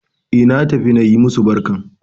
E, naj tafi na yi masu barkan.